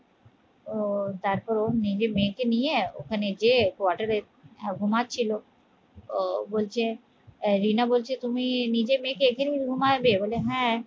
আহ তারপর ও নিজের মেয়েকে নিয়ে ওখানে গিয়ে quarter এ ঘুমাচ্ছি ও বলছে রিনা বলছে তুমি নিজে মেয়েকে এখানেই ঘুমাবে বলে হ্যাঁ